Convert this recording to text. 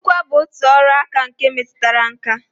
Nkụkwa bụ otu ọrụaka nke metụtara nkà